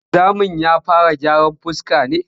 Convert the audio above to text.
Wanzamin ya fara gyaran fuska ne?